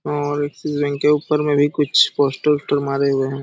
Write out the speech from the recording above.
और Axis bank के ऊपर मे भी कुछ पोस्टर वोस्टर मारे हुए हैं। ।